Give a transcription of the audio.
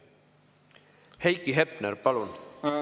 Heiki Hepner, palun!